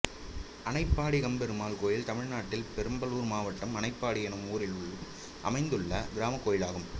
அனைப்பாடி கம்பபெருமாள் கோயில் தமிழ்நாட்டில் பெரம்பலூர் மாவட்டம் அனைப்பாடி என்னும் ஊரில் அமைந்துள்ள கிராமக் கோயிலாகும்